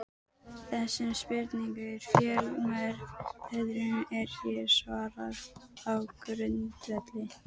Þessum spurningum og fjölmörgum öðrum er hér svarað á grundvelli